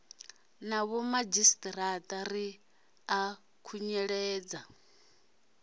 na vhomadzhisiṱiraṱa ri ḓo khunyeledza